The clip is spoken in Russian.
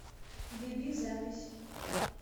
биби запись